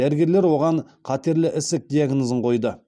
дәрігерлер оған қатерлі ісік диагнозын қойды